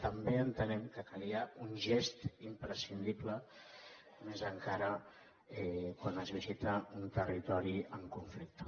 també entenem que calia un gest imprescindible més encara quan es visita un territori en conflicte